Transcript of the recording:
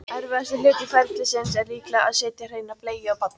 erfiðasti hluti ferlisins er líklega að setja hreina bleiu á barnið